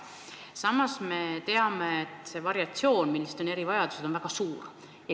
Samas me teame, et erivajadused on väga erinevad.